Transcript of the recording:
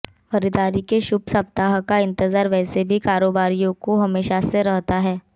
खरीदारी के शुभ सप्ताह का इंतजार वैसे भी कारोबारियों को हमेशा से रहता है